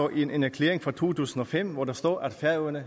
en erklæring fra to tusind og fem hvor der står at færøerne